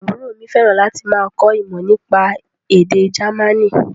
Àbúrò mi fẹ́ràn láti máa kọ́ ìmọ̀ nípa èdè Jamaní